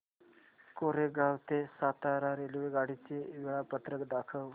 कोरेगाव ते सातारा रेल्वेगाडी चे वेळापत्रक दाखव